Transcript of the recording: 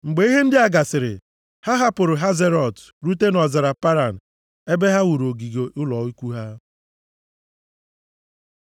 Mgbe ihe ndị a gasịrị, ha hapụrụ Hazerọt rute nʼọzara Paran ebe ha wuru ogige ụlọ ikwu ha.